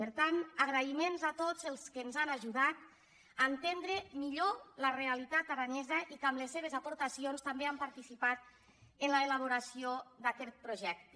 per tant agraïments a tots els que ens han ajudat a entendre mi·llor la realitat aranesa i que amb les seves aportaci·ons també han participat en l’elaboració d’aquest pro·jecte